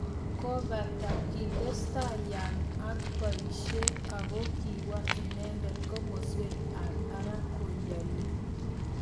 Kopate kites tai Young ak poishet, ako kiwa inendet komaswekap parak konyillo